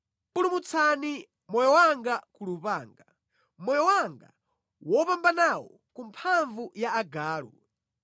Pulumutsani moyo wanga ku lupanga, moyo wanga wopambanawu ku mphamvu ya agalu.